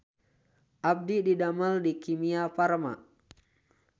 Abdi didamel di Kimia Farma